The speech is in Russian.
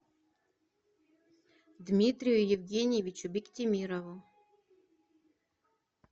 дмитрию евгеньевичу биктимирову